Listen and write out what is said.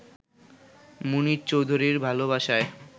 মুনীর চৌধুরীর ভালোবাসায়